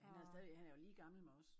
Han er stadigvæk han er jo lige gammel med os